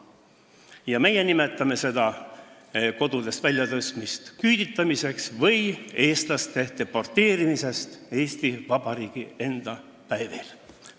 Ja meie nimetame seda kodudest väljatõstmist küüditamiseks või eestlaste deporteerimiseks Eesti Vabariigi enda päevil.